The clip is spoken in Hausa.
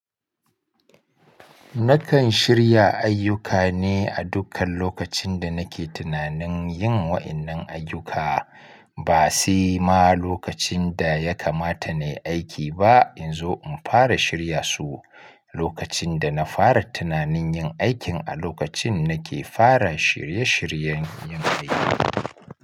Nakan shirya ayyuka ne a dukkan lokacin da nake tunanin yin wa innan ayyuka, ba sai ma lokacin da ya kamata na yi aiki ba. In zo in fara shirya su lokacin da na fara tunanin yin aikin a lokacin nake fara shirye-shiryen yin aiki.